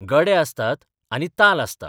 गडे आसतात आनी ताल आसता.